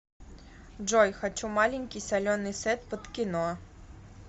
джой хочу маленький соленый сет под кино